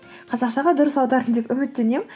қазақшаға дұрыс аудардым деп үміттенемін